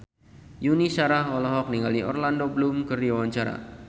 Yuni Shara olohok ningali Orlando Bloom keur diwawancara